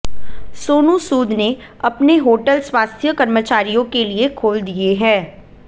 सोनू सूद ने अपने होटल स्वास्थ्य कर्मचारियों के लिए खोल दिए हैं